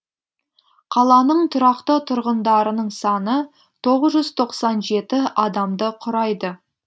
қаланың тұрақты тұрғындарының саны тоғыз жүз тоқсан жеті адамды құрайды